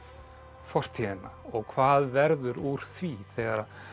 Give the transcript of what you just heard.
fortíðina og hvað verður úr því þegar